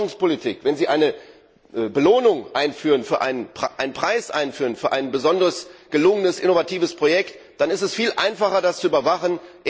in der Forschungspolitik eine Belohnung, einen Preis, einführen für ein besonders gelungenes innovatives Projekt, dann ist es viel einfacher, das zu überwachen.